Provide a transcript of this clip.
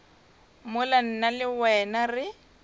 mola nna le wena re